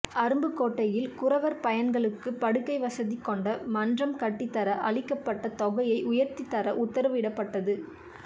அருப்புக்கோட்டையில் குறவர் பையன்களுக்குப் படுக்கை வசதி கொண்ட மன்றம் கட்டித்தர அளிக்கப்பட்ட தொகையை உயர்த்தித் தர உத்தரவு இடப்பட்டது